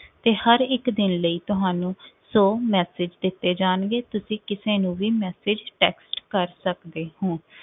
ਤੇ ਹਰ ਇਕ ਦਿਨ ਲਈ ਤੁਹਾਨੂੰ ਸੌ message ਦਿੱਤੇ ਜਾਣਗੇ, ਤੁਸੀ ਕਿਸੇ ਨੂੰ ਵੀ message text ਕਰ ਸਕਦੇ ਹੋ।